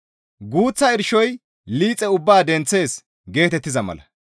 «Guuththa irshoy liixe ubbaa denththees» geetettiza mala.